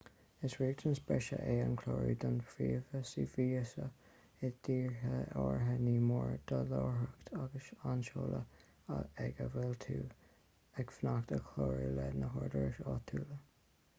is riachtanas breise é an clárú don phróiseas víosa i dtíortha áirithe ní mór do láithreacht agus an seoladh ag a bhfuil tú ag fanacht a chlárú leis na húdaráis áitiúla